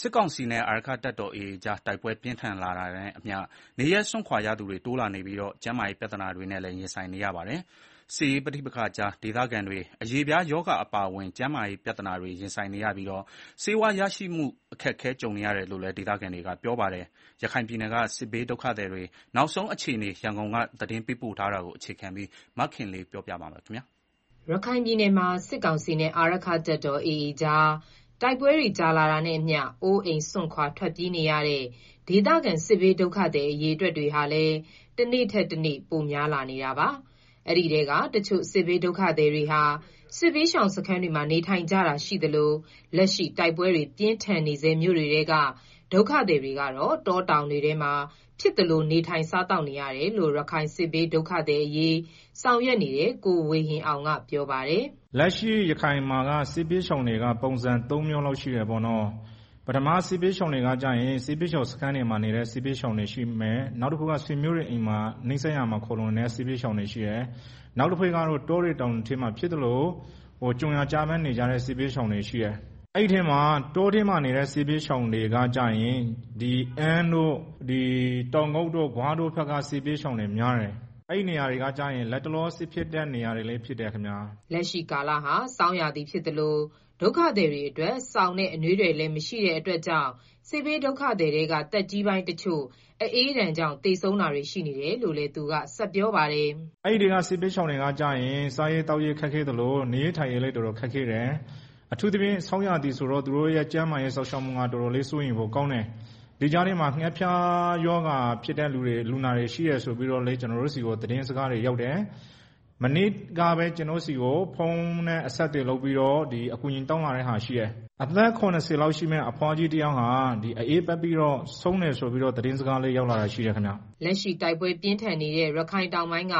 စစ်ကောင်စီနဲ့ အာရက္ခတပ်တော် AA ကြား တိုက်ပွဲပြင်းထန်နေတာနဲ့အမျှ နေရပ်စွန့်ခွာရသူတွေ တိုးလာနေပြီး ကျန်းမာရေး ပြဿနာတွေနဲ့လည်း ရင်ဆိုင်နေရပါတယ်။ စစ်ရေးပဋိပက္ခကြားမှာ ဒုက္ခသည်တွေဟာ အရေပြားရောဂါအပါအဝင် ကျန်းမာရေးပြဿနာတွေ ရင်ဆိုင်နေရပြီး ဆေးဝါးရရှိဖို့ အခက်ကြုံနေရတယ်လို့လည်း ဒေသခံတွေက ပြောပါတယ်။ ရခိုင်ပြည်နယ်က စစ်ဘေးဒုက္ခသည်တွေ နောက်ဆုံးအခြေအနေ ရန်ကုန်က သတင်းပေး ပို့ထားတာကို အခြေခံပြီး မခင်လေး တင်ပြထားပါတယ်။ ရခိုင်ပြည်နယ်မှာ စစ်ကောင်စီနဲ့ အာရက္ခတပ်တော် AA ကြား တိုက်ပွဲတွေကြာရှည်လာတာနဲ့အမျှ အိုးအိမ်စွန့်ခွာထွက်ပြေးနေရတဲ့ ဒေသခံစစ်ဘေးဒုက္ခသည်အရေအတွက်ဟာလည်း တနေ့ထက်တနေ့ ပိုများလာနေတာပါ။ အဲဒီထဲကတချို့စစ်ဘေးဒုက္ခသည်တွေဟာ စစ်ဘေးရှောင်စခန်းတွေမှာ နေထိုင် ကြတာရှိသလို လက်ရှိတိုက်ပွဲပြင်းထန်နေဆဲ မြို့တွေထဲက ဒုက္ခသည်တွေကတော့ တောတောင်တွေ ထဲမှာ ဖြစ်သလို စားသောက်နေထိုင်နေရတယ်လို့ ရခိုင်စစ်ဘေးဒုက္ခသည်အရေးဆောင်ရွက်နေတဲ့ ကိုဝေဟင်အောင်ကပြောပါတယ်။ “လက်ရှိ ရခိုင်ပြည်နယ်မှာက စစ်ဘေးရှောင်တွေက ပုံစံသုံးမျိုးလောက်ရှိတယ်ပေါ့နော်၊ စစ်ဘေးရှောင် စခန်းတွေမှာနေတဲ့ စစ်ဘေးရှောင်တွေရှိမယ်။ နောက်တခုကတော့ နီးစပ်ရာ ဆွေမျိုးတွေအိမ်မှာ နေတဲ့သူတွေရှိမယ်၊ နောက်တခုကတော့ တောတွေ တောင်တွေထဲမှာ ဖြစ်သလို ကြုံရာကျဘန်း နေကြတဲ့ စစ်ဘေးရှောင်တွေရှိမယ်၊ အဲဒီထဲမှာ တောထဲမှာနေတဲ့ စစ်ဘေးရှောင်တွေကကျတော့ အမ်းတို့၊ တောင်ကုတ်တို့၊ ဂွတို့ ဘက်က စစ်ဘေးရှောင်တွေများတယ်။ အဲဒီနေရာတွေက လတ်တလော စစ်ဖြစ်တဲ့နေရာတွေလည်းဖြစ်တယ်ခင်ဗျာ။” လက်ရှိကာလဟာ ဆောင်းရာသီဖြစ်သလို ဒုက္ခသည်တွေအတွက် စောင်နဲ့ အနွေးထည်တွေ မရှိ တာကြောင့်လည်း စစ်ဘေးဒုက္ခသည်ထဲက သက်ကြီးပိုင်းတချို့ အအေးဒဏ်ကြောင့် သေဆုံး တာတွေရှိနေ တယ်လို့ သူကဆက်ပြေပါတယ်။ “အဲဒီစစ်ဘေးရှောင်တွေက စားရေးသောက်ရေးလည်း ခက်ခဲသလို နေရေးထိုင်ရေးလည်း တော်တော် ခက်ခဲတယ်။အထူးသဖြင့်ဆောင်းရာသီဆိုတော့ သူတို့ရဲ့ကျန်းမာရေးစောင့်ရှောက်မှုက တော်တော်လေး စိုးရိမ်ဖို့ကောင်းတယ်၊ ဒီကြားထဲမှာ ငှက်ဖျားဖြစ်တဲ့ လူနာတွေရှိတယ်ဆိုပြီးတော့လည်း ကျနော်တို့ ကြားတယ်။ မနေ့ကပဲ ကျနော့်ဆီကို ဖုန်းနဲ့အဆက်အသွယ်လုပ်ပြီးတော့ အကူအညီတောင်းလာတာ ရှိတယ်။ အသက် ၇၀ လောက်ရှိတဲ့အဘွားတဦး အအေးပတ်ပြီးတော့ ဆုံးတယ်ဆိုပြီး သတင်းစကား ရောက်လာတာရှိတယ်။” လက်ရှိတိုက်ပွဲပြင်းထန်နေတဲ ရခိုင်တောင်ပိုင်းက